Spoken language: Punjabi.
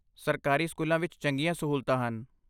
ਸਰਕਾਰੀ ਸਕੂਲਾਂ ਵਿੱਚ ਚੰਗੀਆਂ ਸਹੂਲਤਾਂ ਹਨ।